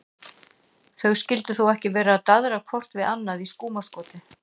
Þau skyldu þó ekki vera að daðra hvort við annað í skúmaskoti?